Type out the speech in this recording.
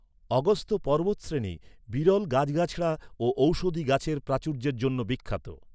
অগস্ত্য পর্বতশ্রেণী বিরল গাছগাছড়া ও ঔষধি গাছের প্রাচুর্যের জন্য বিখ্যাত।